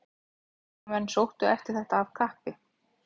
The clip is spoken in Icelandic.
Heimamenn sóttu eftir þetta af kappi.